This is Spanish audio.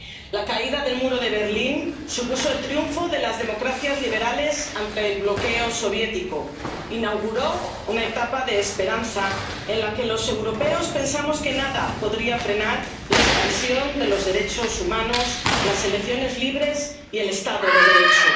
La caída del Muro de Berlín supuso el triunfo de las democracias liberales ante el bloqueo soviético, inauguró una etapa de esperanza en la que los europeos pensamos que nada podría frenar la expansión de los derechos humanos, las elecciones libres y el Estado de Derecho.